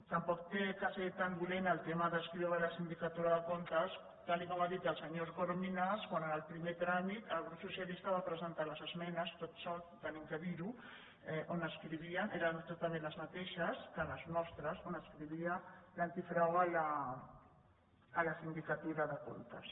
tampoc ha de ser tan dolent el tema d’adscriure la sindicatura de comptes tal com ha dit el senyor corominas quan en el primer tràmit el grup socialistes va presentar les esmenes tot sol hem de dir ho on adscrivien eren exactament les mateixes que les nostres on adscrivia l’antifrau a la sindicatura de comptes